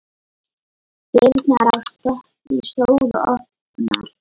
Dyrnar á stöpli stóðu opnar.